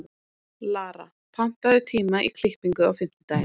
Lara, pantaðu tíma í klippingu á fimmtudaginn.